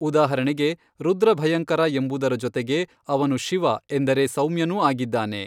ಉದಾಹರಣೆಗೆ ರುದ್ರ ಭಯಂಕರ ಎಂಬುದರ ಜೊತೆಗೆ ಅವನು ಶಿವ ಎಂದರೆ ಸೌಮ್ಯನೂ ಆಗಿದ್ದಾನೆ.